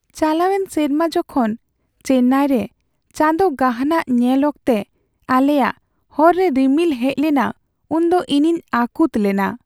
ᱪᱟᱞᱟᱣᱮᱱ ᱥᱮᱨᱢᱟ ᱡᱚᱠᱷᱚᱱ ᱪᱮᱱᱱᱟᱭᱨᱮ ᱪᱟᱸᱫᱳ ᱜᱟᱦᱱᱟᱜ ᱧᱮᱞ ᱚᱠᱛᱮ ᱟᱞᱮᱭᱟᱜ ᱦᱚᱨ ᱨᱮ ᱨᱤᱢᱤᱞ ᱦᱮᱡ ᱞᱮᱱᱟ ᱩᱱᱫᱚ ᱤᱧᱤᱧ ᱟᱹᱠᱩᱛ ᱞᱮᱱᱟ ᱾